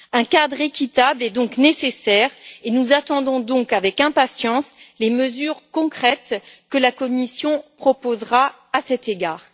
Un cadre équitable est donc nécessaire, et nous attendons avec impatience les mesures concrètes que la Commission proposera à cet égard.